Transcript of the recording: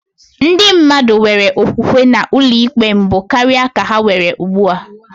Ndị mmadụ nwere okwukwe na ụlọikpe mbụ karịa ka ha nwere ugbu a.